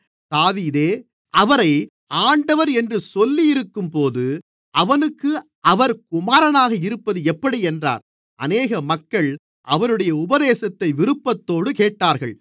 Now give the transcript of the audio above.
தாவீதே அவரை ஆண்டவர் என்று சொல்லியிருக்கும்போது அவனுக்கு அவர் குமாரனாக இருப்பது எப்படி என்றார் அநேக மக்கள் அவருடைய உபதேசத்தை விருப்பத்தோடு கேட்டார்கள்